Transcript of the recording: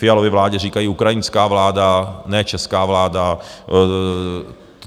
Fialově vládě říkají ukrajinská vláda, ne česká vláda.